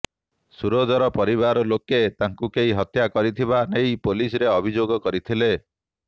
ସୂରଜର ପରିବାର ଲୋକେ ତାଙ୍କୁ କେହି ହତ୍ୟା କରିଥିବା ନେଇ ପୁଲିସରେ ଅଭିଯୋଗ କରିଥିଲେ